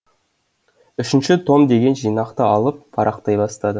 үшінші том деген жинақты алып парақтай бастады